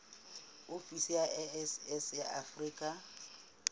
ofisi ya iss ya afrika